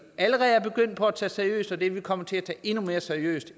allerede er begyndt på at tage seriøst og det vil vi komme til at tage endnu mere seriøst